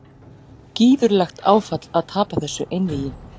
Gífurlegt áfall að tapa þessu einvígi